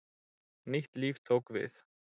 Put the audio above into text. Nýtt líf tók við.